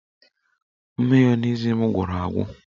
Mayonezi m gwụrụ agwụ